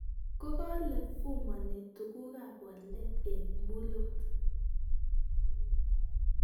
kokale vumani tuguk ab boldet eng mulot